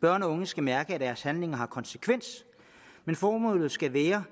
børn og unge skal mærke at deres handlinger har konsekvenser men formålet skal være